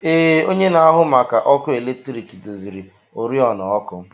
Ee, onye na-ahụ maka ọkụ eletrik doziri oriọna ọkụ.